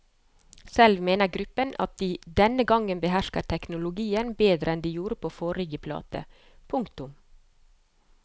Selv mener gruppen at de denne gang behersker teknologien bedre enn de gjorde på forrige plate. punktum